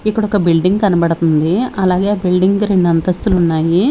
ఇక్కడ ఒక బిల్డింగ్ కనబడుతుంది అలాగే ఆ బిల్డింగ్ కి రెండు అంతస్తులు ఉన్నాయి.